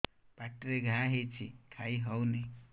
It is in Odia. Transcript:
ପାଟିରେ ଘା ହେଇଛି ଖାଇ ହଉନି